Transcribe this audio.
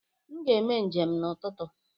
M ga-eme njem n'ụtụtụ.